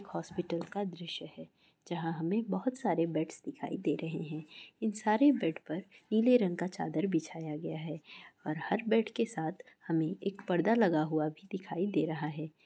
Hospital का दृश्य है जहां हमें बहुत सारे बेडस दिखाई दे रहे हैं इन सारे बेड पर नीले रंग का चादर बिछाया गया है और हर बैड के साथ हमें एक पर्दा लगा हुआ भी दिखाई दे रहा है।